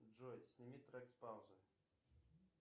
джой сними трек с паузы